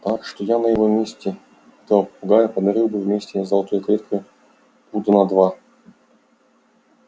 так что я на его месте этого попугая подарил бы вместе с золотой клеткой пуда на два